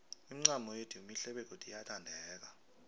imincamo yethu mihle begodu iyathandeka